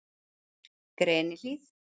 Grenihlíð